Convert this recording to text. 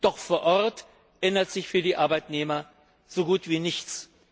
Doch vor Ort ändert sich für die Arbeitnehmer so gut wie nichts.